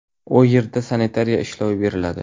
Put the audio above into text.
U yerda sanitariya ishlovi beriladi.